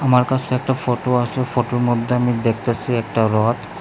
আমার কাছে একটা ফটো আছে ফটোর মধ্যে আমি দেখতাছি একটা রড ।